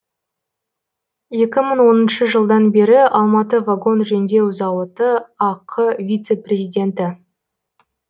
екі мың оныншы жылдан бері алматы вагон жөндеу зауыты ақ вице президенті